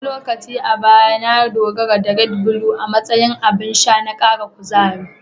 Wani lokaci a baya, na dogara da "Red Blue" a matsayin abin sha na kara kuzari.